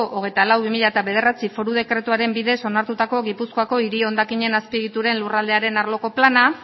hogeita lau barra bi mila bederatzi foru dekretuaren bidez onartutako gipuzkoako hiri hondakinen azpiegituren lurraldearen arloko plana